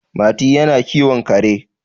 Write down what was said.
Mati yana kiwon kare